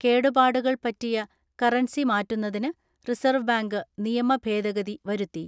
കേടുപാടുകൾ പറ്റിയ കറൻസി മാറ്റുന്നതിന് റിസർവ് ബാങ്ക് നിയമ ഭേദഗതി വരുത്തി.